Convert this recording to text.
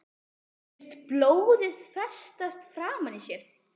Finnst blóðið festast framan í sér.